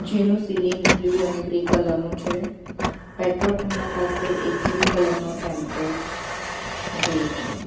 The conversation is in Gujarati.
જેનો સીલિંગ બ્લુ અને ગ્રે કલર નું છે પેટ્રોલ પંપ ના પાસે એક બ્લુ કલર નો ટેમ્પો ઉભેલો છે.